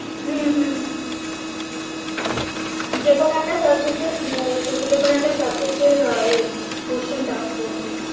হম হম যেকোনো একটা subject এর আহ তুমি যেকোনো একটা subject এর আহ এই question tough করবে